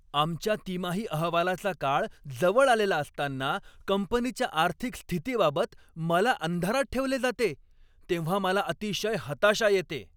आमच्या तिमाही अहवालाचा काळ जवळ आलेला असतांना कंपनीच्या आर्थिक स्थितीबाबत मला अंधारात ठेवले जाते तेव्हा मला अतिशय हताशा येते.